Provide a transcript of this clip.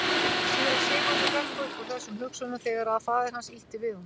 Síra Sigurður hrökk upp úr þessum hugsunum þegar að faðir hans ýtti við honum.